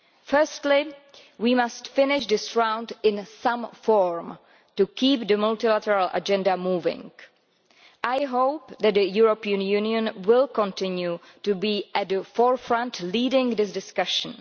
Firstly, we must finish this round in some form, to keep the multilateral agenda moving. I hope that the European Union will continue to be at the forefront, leading this discussion.